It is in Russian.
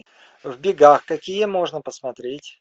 в бегах какие можно посмотреть